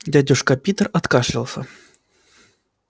дядюшка питер откашлялся